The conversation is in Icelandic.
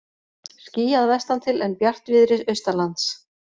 Skýjað vestantil en bjartviðri austanlands